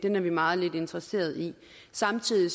er vi meget lidt interesseret i samtidig